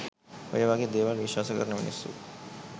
ඔය වගේ දේවල් විශ්වාස කරන මිනිස්සු